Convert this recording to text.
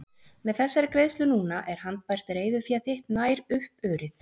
Með þessari greiðslu núna er handbært reiðufé þitt nær upp urið.